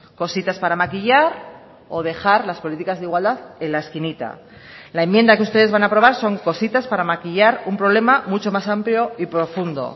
cositas para maquillar o dejar las políticas de igualdad en la esquinita la enmienda que ustedes van a aprobar son cositas para maquillar un problema mucho más amplio y profundo